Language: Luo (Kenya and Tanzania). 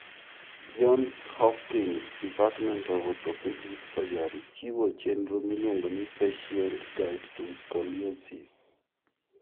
Johns Hopkins Department of Orthopedic Surgery chiwo chenro miluongo ni Patient Guide to Scoliosis.